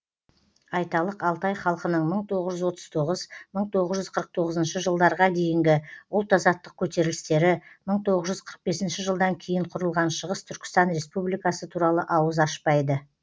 айталық алтай халқының мың тоғыз жүз отыз тоғыз мың тоғыз жүз қырық тоғызыншы жылдарға дейінгі ұлт азаттық көтерілістері мың тоғыз жүз қырық бесінші жылдан кейін құрылған шығыс түркістан республикасы туралы ауыз ашпайды